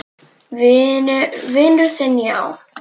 Vinur þinn, já?